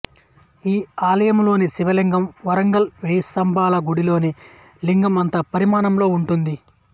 ఈ ఆలయంలోని శివలింగం వరంగల్ వేయి స్తంభాలగుడిలోని లింగం అంత పరిమాణంలో ఉంటుంది